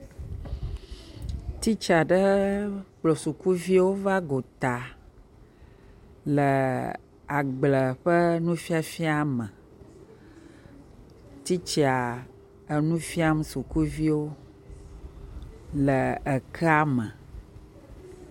Titsa ɖe kplɔ sukuviwo va gota le agble ƒe nufiafia me. Titsa enu fiam sukuviwo le ekea me.